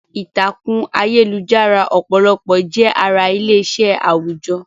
Ìtàkùn ayélujára ọ̀pọ̀lọpọ̀ jẹ́ ara ilé-iṣẹ́ àwùjọ.